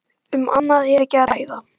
Um annað er ekki að ræða.